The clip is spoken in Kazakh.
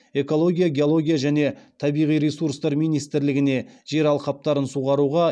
экология геология және табиғи ресурстар министрлігіне жер алқаптарын суғаруға